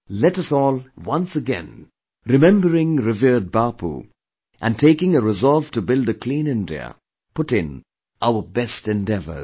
Let us all, once again remembering revered Bapu and taking a resolve to build a Clean India, put in our best endeavours